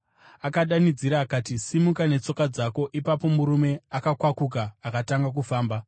akadanidzira akati, “Simuka netsoka dzako!” Ipapo, murume akakwakuka akatanga kufamba.